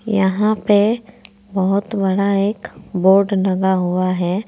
यहां पे बहोत बड़ा एक बोर्ड लगा हुआ है।